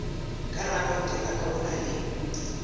ka rakonteraka o na le